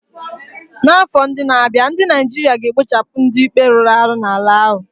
N'afọ ndị na-abịa, ndị Naijiria ga-ekpochapụ ndị ikpe rụrụ arụ n'ala ahụ.